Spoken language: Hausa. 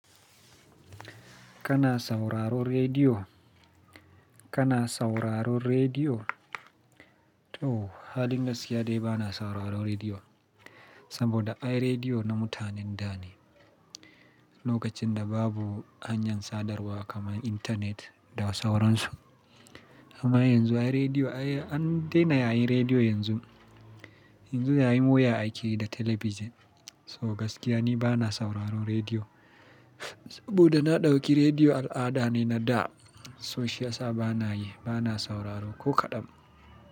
Kana sauraron rediyo? Kana sauraron rediyo? To, halin gaskiya dai bana sauraron rediyo, saboda ai rediyo na mutanen da ne. Lokacin da babu hanyar sadarwa kamar intanet da sauransu. Amma yanzu ai rediyo an dena yayin rediyo yanzu. Yanzu yayin waya ake yi da talabijin. So gaskiya ni bana sauraron rediyo. Saboda na ɗauki rediyo al'ada ne na da. So shiyasa bana yi, bana sauraro ko kaɗan.